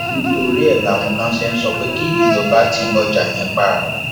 nítorí ẹ láwọn kan ṣe ń sọ pé kí ìjọba ti ọjà yẹn pa